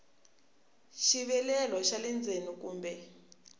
xivilelo xa le ndzeni kumbe